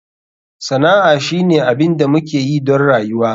Sana'a shine abin da muke yi don rayuwa.